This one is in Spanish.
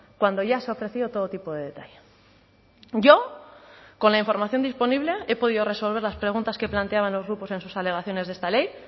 cuando ya se ha ofrecido todo tipo de detalle yo con la información disponible he podido resolver las preguntas que planteaban los grupos en sus alegaciones de esta ley